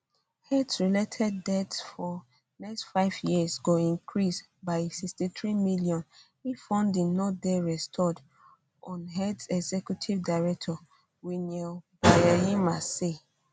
aids related deaths for next five years go increase by sixty three million if funding no dey restored unaids executive director winnie byanyima say